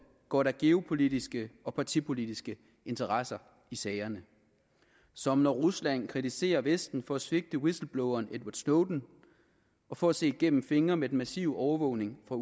går der geopolitiske og partipolitiske interesser i sagerne som når rusland kritiserer vesten for at svigte whistlebloweren edward snowden og for at se gennem fingre med den massive overvågning fra